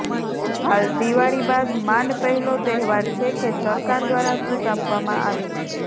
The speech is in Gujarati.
હાલ દિવાળી બાદ માંડ પહેલો તહેવાર છે કે સરકાર દ્વારા છૂટ આપવામાં આવી છે